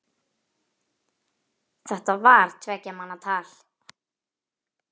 Þetta var tveggja manna tal.